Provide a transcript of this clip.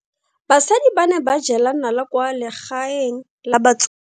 Basadi ba ne ba jela nala kwaa legaeng la batsofe.